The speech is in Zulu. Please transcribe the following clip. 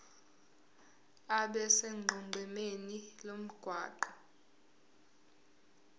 abe sonqenqemeni lomgwaqo